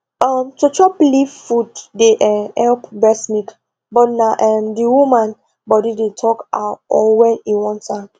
um to chop leaf food dey um help breast milk but na um d woman body dey talk how or wen e want am